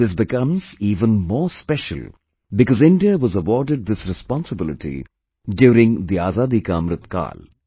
This becomes even more special because India was awarded this responsibility during Azadi Ka Amrit Kaal